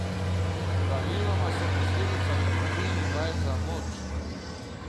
Praviloma so posledica nepravilnih vaj za moč.